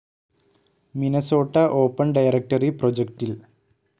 Minnesota open directory പ്രൊജക്റ്റിൽ